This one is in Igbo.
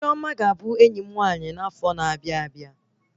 Chioma ga-abụ enyi m nwaanyị n'afo na-abịa